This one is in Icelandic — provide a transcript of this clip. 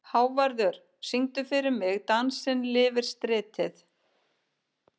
Hávarður, syngdu fyrir mig „Dansinn lifir stritið“.